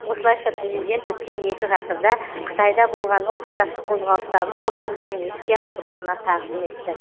осылайша президент өткен екі ғасырда қытайда болған ұлт азаттық қозғалыстарының құрбандарын еске алып рухына тағзым етті